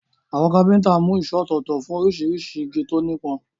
Àwọn kápẹ́ntà mú ìṣó ọ̀tọ̀ọ̀tọ̀ fún oríṣiríṣi igi tó nípọn.